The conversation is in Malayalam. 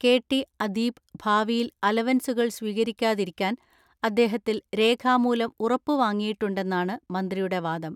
കെ ടി അദീപ് ഭാവിയിൽ അലവൻസുകൾ സ്വീകരിക്കാതിരിക്കാൻ അദ്ദേഹത്തിൽ രേഖാമൂലം ഉറപ്പ് വാങ്ങിയിട്ടുണ്ടെന്നാണ് മന്ത്രിയുടെ വാദം.